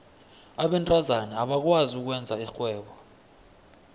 abentazana abakwazi ukwenza irhwebo